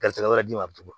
Garisi wɛrɛ di ma a bɛ tugun